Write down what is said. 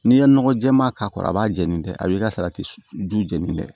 N'i ye nɔgɔ jɛman k'a kɔrɔ a b'a jeni dɛ a b'i ka salati susu jɛni dɛ